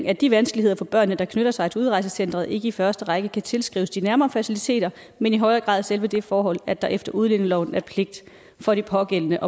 at de vanskeligheder for børnene der knytter sig til udrejsecenteret ikke i første række kan tilskrives de nærmere faciliteter men i højere grad selve det forhold at der efter udlændingeloven er pligt for de pågældende